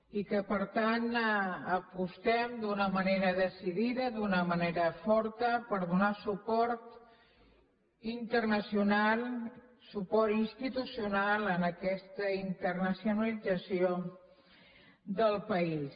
i que per tant apostem d’una manera decidida d’una manera forta per donar suport internacional suport institucional a aquesta internacionalització del país